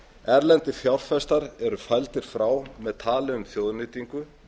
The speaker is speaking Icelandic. erlendir fjárfestar eru fældir frá með tali um þjóðnýtingu